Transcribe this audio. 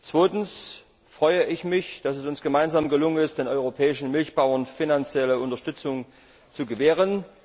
Zweitens freue ich mich, dass es uns gemeinsam gelungen ist, den europäischen Milchbauern finanzielle Unterstützung zu gewähren.